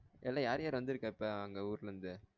எல்லா யார் யார் வந்திருக்கா இப்ப அங்க ஊருல இருந்து